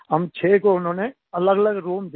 हम छः को उन्होंने अलगअलग रूम दिया